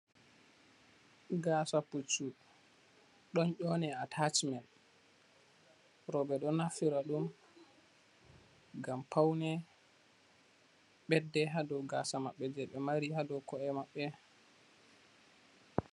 Gasa puccu ɗon nyone ataacimet, Rowɓe ɗo naftira ɗum ngam paune, Ɓedde ha dow gasa maɓɓe je ɓe mari ha dow ko, e maɓɓe.